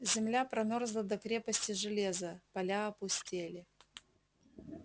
земля промёрзла до крепости железа поля опустели